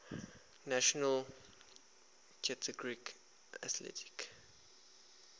national collegiate athletic